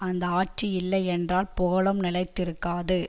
அந்த ஆட்சி இல்லை என்றால் புகழும் நிலைத்திருக்காது